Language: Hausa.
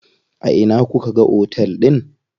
A ina kuka ga otel din?